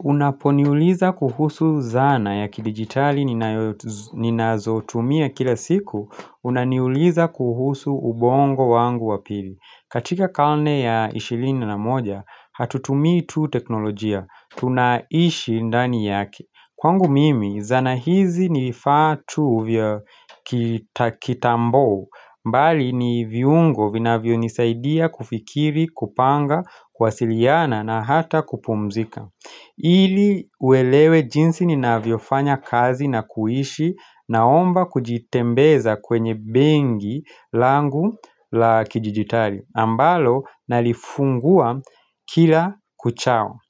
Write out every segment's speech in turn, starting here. Unaponiuliza kuhusu zana ya kidigitali ninazotumia kila siku, unaniuliza kuhusu ubongo wangu wa pili. Katika karne ya ishirini na moja, hatutumii tu teknolojia, tunaishi ndani yake. Kwangu mimi, zana hizi ni vifaa tu vya kitambo, bali ni viungo vinavyonisaidia kufikiri, kupanga, kuwasiliana na hata kupumzika. Ili uelewe jinsi ninavyofanya kazi na kuishi naomba kujitembeza kwenye benki langu la kidijitali ambalo nalifungua kila kuchao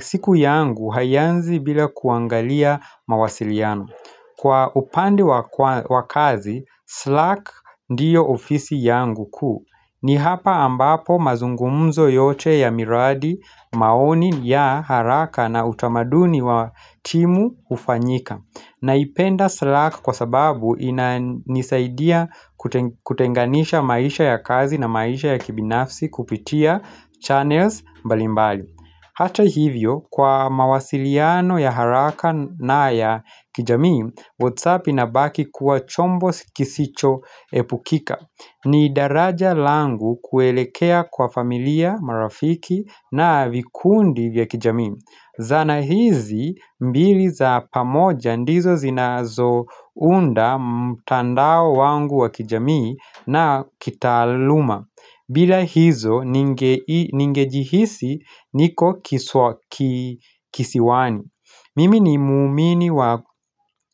siku yangu haianzi bila kuangalia mawasiliano Kwa upande Kwa kazi, Slack ndiyo ofisi yangu kuu ni hapa ambapo mazungumzo yote ya miradi maoni ya haraka na utamaduni wa timu hufanyika Naipenda Slack kwa sababu inanisaidia kutenganisha maisha ya kazi na maisha ya kibinafsi kupitia channels mbalimbali Hata hivyo, kwa mawasiliano ya haraka na ya kijamii, Whatsapp inabaki kuwa chombo kisichoepukika ni daraja langu kuelekea kwa familia marafiki na vikundi vya kijamii Zana hizi mbili za pamoja ndizo zinazounda mtandao wangu wa kijamii na kitaaluma bila hizo ningejihisi niko kisiwani Mimi ni mwaumini wa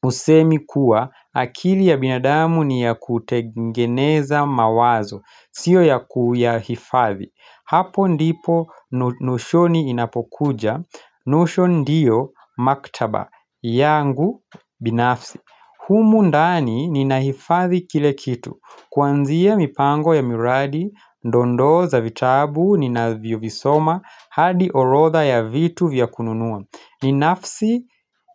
usemi kuwa akili ya binadamu ni ya kutengeneza mawazo sio ya kuyahifadhi Hapo ndipo Notion inapokuja Notion ndio maktaba yangu binafsi humu ndani ninahifathi kila kitu Kuanzia mipango ya miradi dondoo za vitabu ninavyovisoma hadi orodha ya vitu vya kununua ni nafsi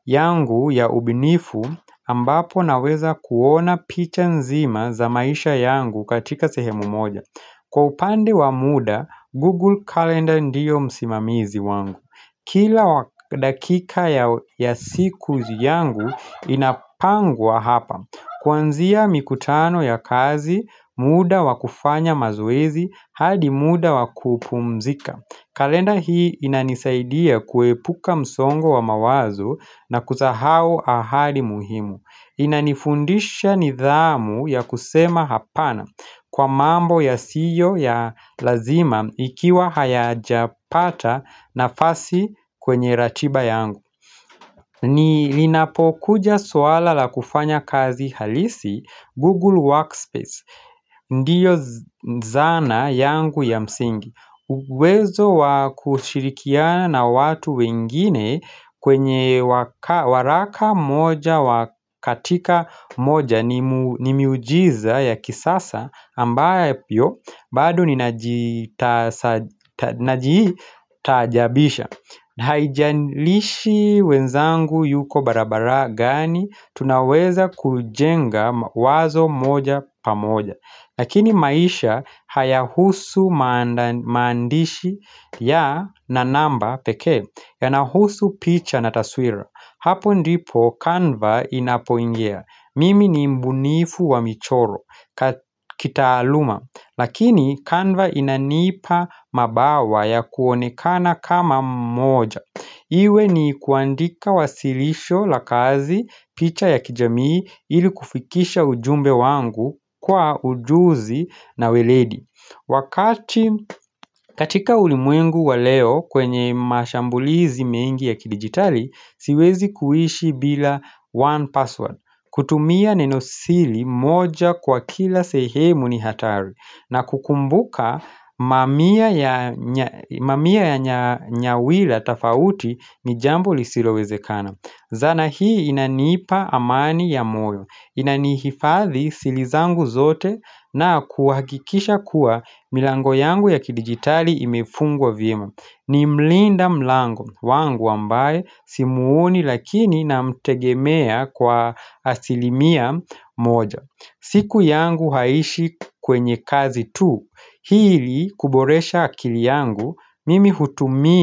yangu ya ubunifu ambapo naweza kuona picha nzima za maisha yangu katika sehemu moja Kwa upande wa muda, Google Calendar ndiyo msimamizi wangu Kila dakika ya siku yangu inapangwa hapa Kuanzia mikutano ya kazi, muda wa kufanya mazoezi, hadi muda wa kupumzika kalenda hii inanisaidia kuepuka msongo wa mawazo na kusahau ahadi muhimu. Inanifundisha nidhamu ya kusema hapana kwa mambo yasiyo ya lazima ikiwa hayajapata nafasi kwenye ratiba yangu. Linapokuja suala la kufanya kazi halisi Google Workspace. Ndiyo zana yangu ya msingi. Uwezo wa kushirikiana na watu wengine kwenye waraka moja wa katika moja ni miujiza ya kisasa ambavyo bado ninajitajabisha Haijalishi wenzangu yuko barabara gani tunaweza kujenga wazo moja pamoja Lakini maisha hayahusu maandishi na namba pekee yanahusu picha na taswira. Hapo ndipo kanva inapoingia. Mimi ni mbunifu wa michoro kitaaluma. Lakini kanva inanipa mabawa ya kuonekana kama mmoja. Iwe ni kuandika wasilisho la kazi picha ya kijamii ili kufikisha ujumbe wangu kwa ujuzi na weledi Wakati katika ulimwengu wa leo kwenye mashambulizi mengi ya kidijitali siwezi kuishi bila 1Password kutumia neno siri moja kwa kila sehemu ni hatari na kukumbuka mamia ya nyawila tofauti ni jambo lisilowezekana. Zana hii inanipa amani ya moyo. Inanihifadhi siri zangu zote na kuhakikisha kuwa milango yangu ya kidijitali imefungwa vyema. Ni mlinda mlango wangu ambaye simuoni lakini namtegemea kwa asilimia moja siku yangu haiishi kwenye kazi tu ili kuboresha akili yangu mimi hutumia.